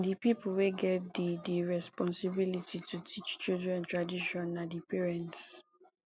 di pipo wey get di di responsibility to teach children tradition na di parents